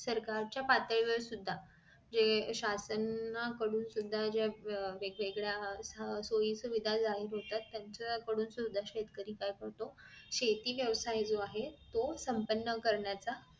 सरकार च्या पातळी वर सुद्धा जे शासनाकडून सुद्धा अह ज्या वेगवेगळ्या सोयीसुविधा जाहीर होतात त्यांच्या कडून सुद्धा शेतकरी काय करतो शेती व्यवसाय जो आहे तो संपन्न करण्याचा